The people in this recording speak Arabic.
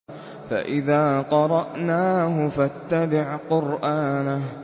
فَإِذَا قَرَأْنَاهُ فَاتَّبِعْ قُرْآنَهُ